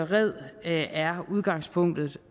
red red er udgangspunktet